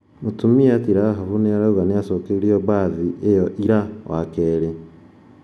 Mũtumia ti Rahaf nĩrauga nĩacokeĩrũo bathi ĩyo ira wakere